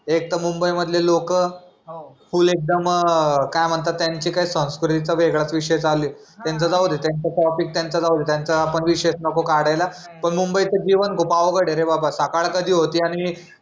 एक तर मुंबई मधली लोक फुल एकदम काय म्हणतात त्यानचे संस्कृतीचा वेगळाच विषय चालूये त्यांचा जाऊदे त्यांचा टॉपिक त्यांचा जाऊदे त्यांचा आपण विषयच नको काढायला पण मुंबई चा जीवन खूप अवघड ए रे बाबा सकाळ कधी होते रे आणि